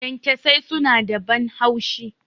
Kyankyasai suna da ban haushi.